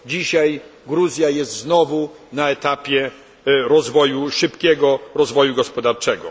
Dzisiaj Gruzja jest znowu na etapie szybkiego rozwoju gospodarczego.